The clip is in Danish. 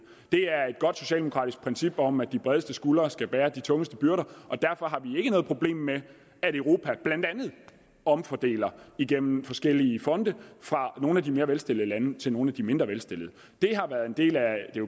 er et godt socialdemokratisk princip om at de bredeste skuldre skal bære de tungeste byrder og derfor har vi ikke noget problem med at europa blandt andet omfordeler gennem forskellige fonde fra nogle af de mere velstillede lande til nogle af de mindre velstillede det har været en del af